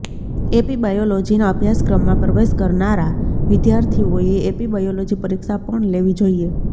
AP બાયોલોજીના અભ્યાસક્રમમાં પ્રવેશ કરનારા વિદ્યાર્થીઓએ એપી બાયોલોજી પરીક્ષા પણ લેવી જોઈએ